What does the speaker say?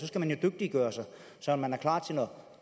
skal dygtiggøre sig så man er klar